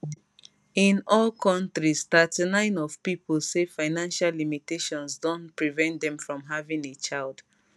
in all countries 39 of pipo say financial limitations don prevent dem from having a child